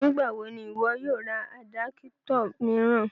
Nígbà wò ni iwọ̀ yóò rá àdápụ̀tọ̀ miiran?